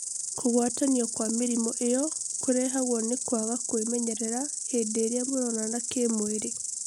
kugwatanio kwa mĩrĩmu ĩyo kũrehagwo nĩ kwaga kwĩmenyerera hĩndĩ ĩrĩa mũronana kĩ mwĩrĩ